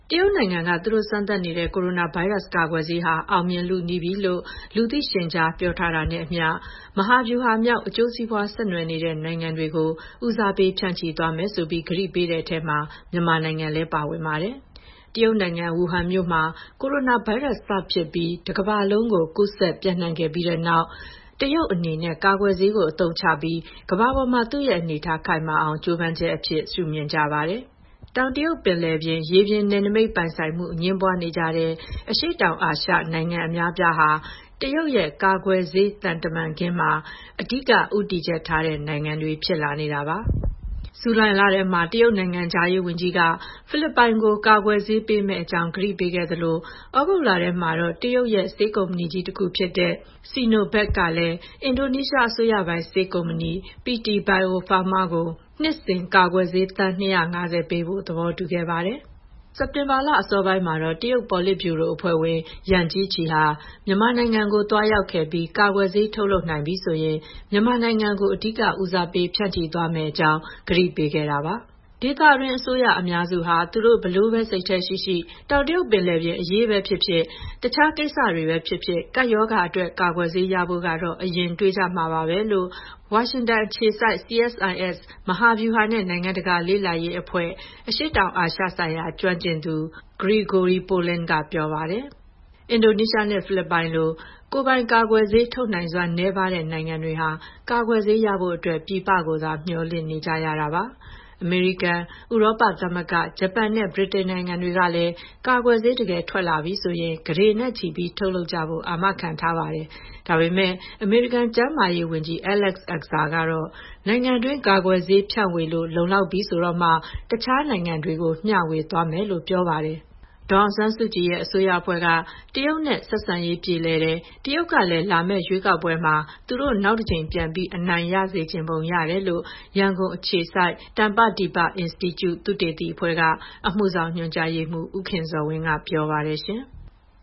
တရုတ်နိုင်ငံက သူတို့စမ်းသပ်နေတဲ့ ကိုရိုနာဗိုင်းရပ်စ် ကာကွယ်ဆေးဟာ အောင်မြင်လုနီးပြီလို့ လူသိရှင်ကြား ပြောထားတာနဲ့အမျှ မဟာဗျူဟာမြောက် အကျိုးစီးပွား ဆက်နွှယ်နေတဲ့ နိုင်ငံတွေကို ဦးစားပေး ဖြန့်ချိပေးမယ်ဆိုပြီး ကတိပေးထားတဲ့အထဲမှာ မြန်မာနိုင်ငံလည်း ပါဝင်ပါတယ်။ တရုတ်နိုင်ငံ၊ ဝူဟန်မြို့မှာ ကိုရိုနာဗိုင်းရပ်စ်စဖြစ်ပြီး တကမ္ဘာလုံးကို ပျံ့နှံ့ကူးစက်ခဲ့ပြီးတဲ့နောက် တရုတ်အနေနဲ့ ကာကွယ်ဆေးကို အသုံးချပြီး ကမ္ဘာပေါ်မှာ သူ့ရဲ့အနေအထား ခိုင်မာအောင် ကြိုးပမ်းချက်အဖြစ် မြင်ကြပါတယ်။ တောင်တရုတ်ပင်လယ်ပြင် ရေပြင်နယ်နိမိတ်ပိုင်ဆိုင်မှု အငြင်းပွားနေကြတဲ့ အရှေ့တောင်အာရှနိုင်ငံ အများအပြားဟာ တရုတ်ရဲ့ "ကာကွယ်ဆေး သံခင်းတမန်ခင်း" မှာ အဓိက ဦးတည်ချက်ထားတဲ့နိုင်ငံတွေ ဖြစ်လာနေတာပါ။ ဇူလိုင်လထဲမှာ တရုတ်နိုင်ငံခြားရေးဝန်ကြီးက ဖိလစ်ပိုင်ကို ကာကွယ်ဆေးပေးမယ့် အကြောင်း ကတိပေးခဲ့သလို သြဂုတ်လထဲမှာတော့ တရုတ်ရဲ့ ဆေးကုမ္ပဏီကြီးတခုဖြစ်တဲ့ Sinovac ကလည်း အင်ဒိုနီးရှားအစိုးရပိုင် ဆေးကုမ္ပဏီ PT Bio Farma ကို နှစ်စဉ် ကာကွယ်ဆေး သန်း ၂၅၀ ပေးဖို့ သဘောတူခဲ့ပါတယ်။ စက်တင်ဘာလ အစောပိုင်းမှာတော့ တရုတ်ပေါ်လစ်ဗျူရိုအဖွဲ့ဝင် Yang Jiechi ဟာ မြန်မာနိုင်ငံကို သွားရောက်ခဲ့ပြီး ကာကွယ်ဆေး ထုတ်လုပ်နိုင်ပြီဆိုရင် မြန်မာနိုင်ငံကို အဓိကဦးစားပေး ဖြန့်ချိသွားမယ့်အကြောင်း ကတိပေးခဲ့တာပါ။ “ဒေသတွင်းအစိုးရ အများစုဟာ သူတို့ ဘယ်လိုပဲ စိတ်ထဲရှိရှိ တောင်တရုတ်ပင်လယ်အရေးပဲဖြစ်ဖြစ်၊ တခြားကိစ္စတွေပဲဖြစ်ဖြစ် ကပ်ရောဂါအတွက် ကာကွယ်ဆေးရဖို့ကတော့ အရင်တွေးကြမှာပါပဲ။” လို့ ဝါရှင်တန်အခြေစိုက် CSIS မဟာဗျူဟာနဲ့ နိုင်ငံတကာလေ့လာရေးအဖွဲ့ အရှေ့တောင်အာရှဆိုင်ရာ ကျွမ်းကျင်သူ Gregory Poling က ပြောပါတယ်။ အင်ဒိုနီးရှားနဲ့ ဖိလစ်ပိုင်လို ကိုယ်ပိုင်ကာကွယ်ဆေး ထုတ်နိုင်စွမ်း နည်းပါးတဲ့ နိုင်ငံတွေဟာ ကာကွယ်ဆေးရဖို့အတွက် ပြည်ပကိုသာ မျှော်လင့်နေကြရတာပါ။ အမေရိကန်၊ ဥရောပသမဂ္ဂ၊ ဂျပန်နဲ့ ဗြိတိန်နိုင်ငံတွေကလည်း ကာကွယ်ဆေး တကယ်ထွက်လာပြီဆိုရင် ကုဋေနဲ့ချီပြီး ထုတ်လုပ်ကြဖို့ အာမခံထားပါတယ်။ ဒါပေမယ့် အမေရိကန် ကျန်းမာရေးဝန်ကြီး Alex Azar ကတော့ နိုင်ငံတွင်း ကာကွယ်ဆေးဖြန့်ဝေလို့ လုံလောက်ပြီဆိုတော့မှ တခြားနိုင်ငံတွေကို မျှဝေသွားမှာဖြစ်ကြောင်း ပြောပါတယ်။ ဒေါ်အောင်ဆန်းစုကြည်အစိုးရအဖွဲ့က တရုတ်နဲ့ ဆက်ဆံရေး ပြေလည်တယ်၊ တရုတ်ကလည်း လာမယ့်ရွေးကောက်ပွဲမှာ သူတို့ နောက်တကြိမ် ပြန်အနိုင်ရစေချင်ပုံ ရတယ်လို့ ရန်ကုန်အခြေစိုက် တမ္ပဒီပအင်စတီကျု သုတေသီအဖွဲ့က အမှုဆောင်ညွှန်ကြားရေးမှူး ဦးခင်ဇော်ဝင်းက ပြောပါတယ်။